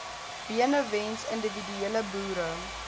benewens individuele boere